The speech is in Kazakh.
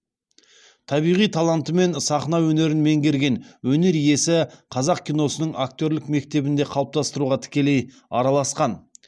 табиғи талантымен сахна өнерін меңгерген өнер иесі қазақ киносының актерлік мектебін де қалыптастыруға тікелей араласқан